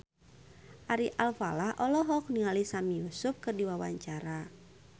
Ari Alfalah olohok ningali Sami Yusuf keur diwawancara